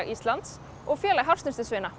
Íslands og Félag